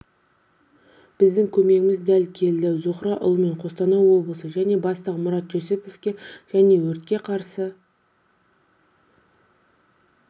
біздің көмегіміз дәл келді зухра ұлымен қостанай облысы және бастығы марат жүсіповке және өртке қарсы